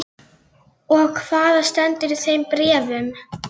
En það er hreinlega ekkert að gerast í þessum bæ.